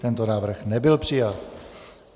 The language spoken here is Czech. Tento návrh nebyl přijat.